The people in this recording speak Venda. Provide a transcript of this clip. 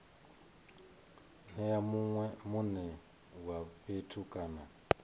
nea mune wa fhethu kana